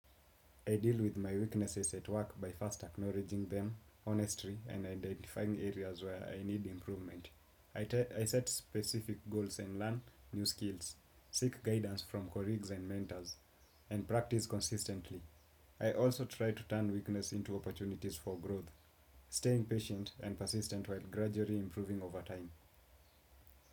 I deal with my weaknesses at work by first acknowledging them honestly and identifying areas where I need improvement. I set specific goals and learn new skills, seek guidance from colleagues and mentors, and practice consistently. I also try to turn weakness into opportunities for growth, staying patient and persistent while gradually improving over time.